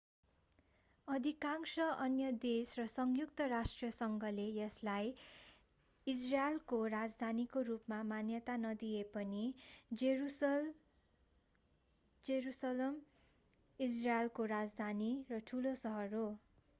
अधिकांश अन्य देश र संयुक्त राष्ट्रसंघले यसलाई इजरायलको राजधानीको रूपमा मान्यता नदिए पनि जेरूसलम इजरायलको राजधानी र ठूलो शहर हो